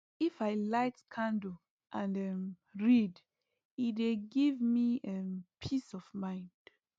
if i light candle and um read e dey give me um peace of mind